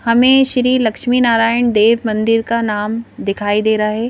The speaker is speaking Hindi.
हमें श्री लक्ष्मी नारायण देव मंदिर का नाम दिखाई दे रहा है.